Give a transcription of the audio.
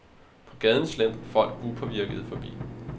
På gaden slentrer folk upåvirkede forbi.